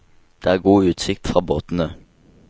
Det er god utsikt fra båtene.